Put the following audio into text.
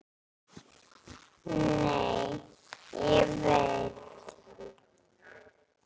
Nei, ég veit.